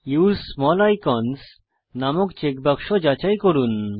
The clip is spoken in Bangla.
উসে স্মল আইকনস নামক চেক বাক্স যাচাই করুন